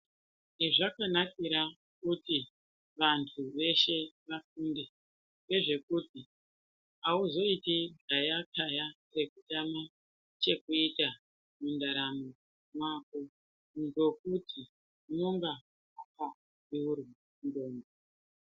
Chezvakanakira kuti vantu veshe vafunde ngezvekuiti auzoiti ntayataya ngekutame chekuita mundaramo mwako ngokuti unonga wakabeura ndxondo.